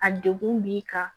A degun b'i kan